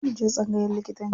Zo mu je tsangayan likitanci.